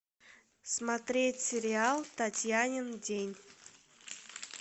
смотреть сериал татьянин день